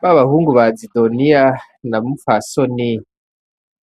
Ba bahungu ba Zidoniya na Mupfasoni,